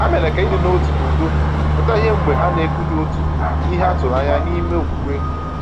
Ha mere ka ịdị n’otu na udo pụta ìhè mgbe ha na-ekwughị otu n’ihe a tụrụ anya ya n’ime okwukwe.